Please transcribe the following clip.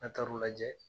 N'a taar'o lajɛ